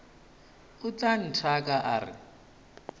o tla nthaka a re